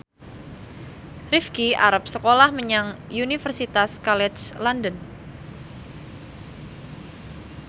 Rifqi arep sekolah menyang Universitas College London